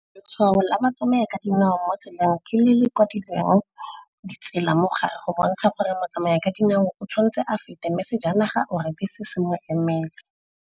Letshwao la batsamaya ka dinao mo tseleng ke le le kwa direng di tsela mo gae go bontsha gore mo tsamaya ka dinao o tshwanetse a feta mme sejanaga or-e bese se mo emele.